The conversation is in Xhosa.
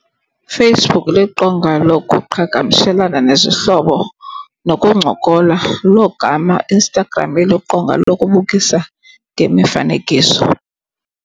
Facebook liqonga lokuqhagamshelana nezihlobo nokuncokola. Logama Instagram eliqonga lokubukisa ngemifanekiso.